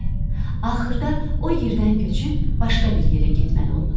Axırda o yerdən köçüb başqa bir yerə getməli oldular.